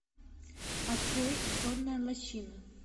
открой сонная лощина